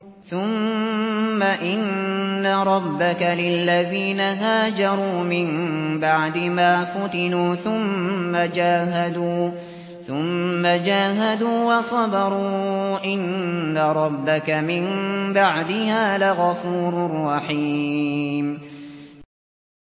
ثُمَّ إِنَّ رَبَّكَ لِلَّذِينَ هَاجَرُوا مِن بَعْدِ مَا فُتِنُوا ثُمَّ جَاهَدُوا وَصَبَرُوا إِنَّ رَبَّكَ مِن بَعْدِهَا لَغَفُورٌ رَّحِيمٌ